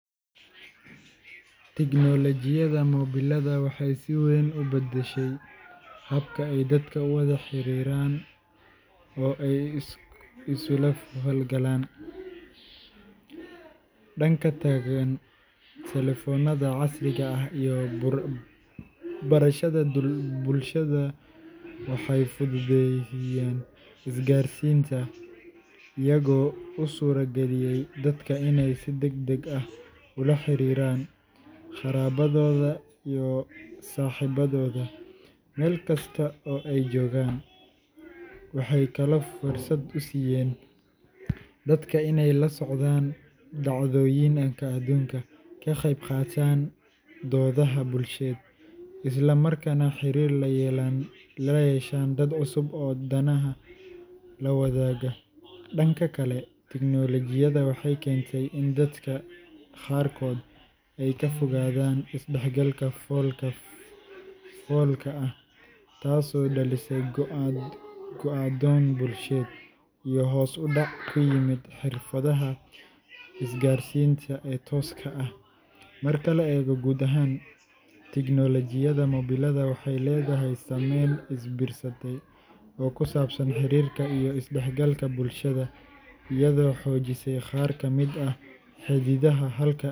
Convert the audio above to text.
Tignoolajiyada mobilada waxay si weyn u beddeshay habka ay dadka u wada xiriiraan oo ay isula falgalaan. Dhanka togan, taleefannada casriga ah iyo baraha bulshada waxay fududeeyeen isgaarsiinta, iyagoo u suurageliyay dadka inay si degdeg ah ula xiriiraan qaraabadooda iyo saaxiibadooda meel kasta oo ay joogaan. Waxay kaloo fursad u siiyeen dadka inay la socdaan dhacdooyinka adduunka, ka qeyb qaataan doodaha bulsheed, isla markaana xiriir la yeeshaan dad cusub oo danaha la wadaaga. Dhanka kale, tignoolajiyadu waxay keentay in dadka qaarkood ay ka fogaadaan is-dhexgalka fool ka foolka ah, taasoo dhalisay go’doon bulsheed iyo hoos u dhac ku yimid xirfadaha isgaarsiinta ee tooska ah. Marka la eego guud ahaan, tignoolajiyada mobilada waxay leedahay saameyn is biirsatay oo ku saabsan xiriirka iyo is-dhexgalka bulshada, iyadoo xoojisay qaar ka mid ah xidhiidhada, halka.